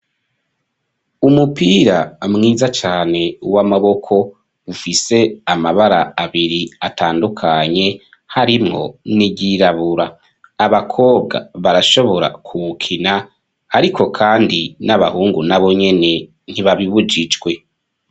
Umupira mwiza cane w'amaboko ufise amabara abiri atandukanye harimwo n'iryirabura abakobwa barashobora kuwukina, ariko kandi n'abahungu na bonyene ntibabibujijwe.